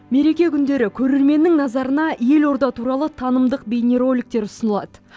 мереке күндері көрерменнің назарына елорда туралы танымдық бейнероликтер ұсынылады